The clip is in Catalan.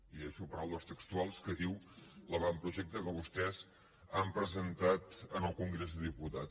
i llegeixo paraules textuals que diu l’avantprojecte que vostès han presentat en el congrés dels diputats